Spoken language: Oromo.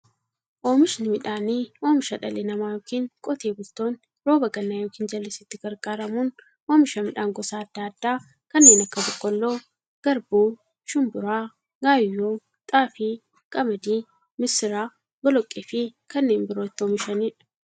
Oomishni midhaanii, oomisha dhalli namaa yookiin Qotee bultoonni roba gannaa yookiin jallisiitti gargaaramuun oomisha midhaan gosa adda addaa kanneen akka; boqqoolloo, garbuu, shumburaa, gaayyoo, xaafii, qamadii, misira, boloqqeefi kanneen biroo itti oomishaniidha.